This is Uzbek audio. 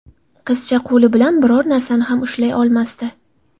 Qizcha qo‘li bilan biror narsani ham ushlay olmasdi.